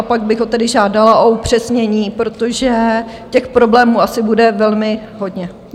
A pak bych ho tedy žádala o upřesnění, protože těch problémů asi bude velmi hodně.